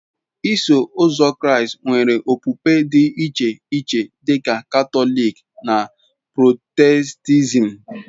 Iso Ụzọ Kraịst nwere okpukpe dị iche iche dị ka Katọlik na Protestantism.